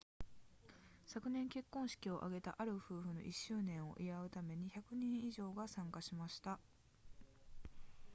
昨年結婚式を挙げたある夫婦の1周年を祝うために100人以上が参加しました